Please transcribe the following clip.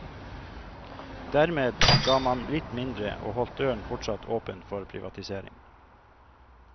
Dermed ga man litt mindre og holdt døren fortsatt åpen for privatisering.